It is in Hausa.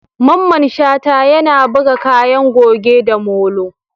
Mamman Shata, yana buga kayan goge da molo.